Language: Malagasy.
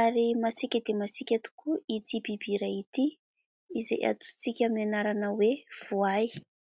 Ary masiaka dia masiaka tokoa ity biby iray ity ; izay antsointsika aminy anarana hoe : "Voay".